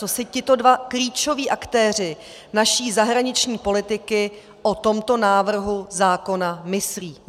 Co si tito dva klíčoví aktéři naší zahraniční politiky o tomto návrhu zákona myslí.